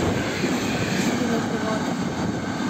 Oziroma v prevodu.